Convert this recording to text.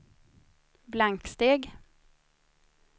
blanksteg